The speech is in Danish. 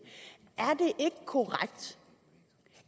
korrekt